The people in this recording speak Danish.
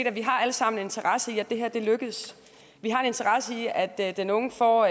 at vi alle sammen har interesse i at det her lykkes vi har interesse i at at den unge får